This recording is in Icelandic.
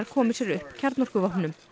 komi sér upp kjarnorkuvopnum